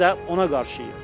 Biz də ona qarşıyıq.